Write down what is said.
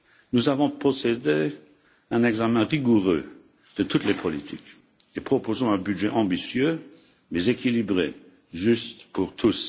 Nous avons procédé à un examen rigoureux de toutes les politiques et proposons un budget ambitieux mais équilibré, juste pour tous.